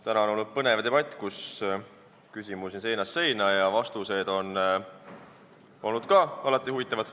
Täna on olnud põnev debatt, küsimusi oli seinast seina ja vastused olid ka huvitavad.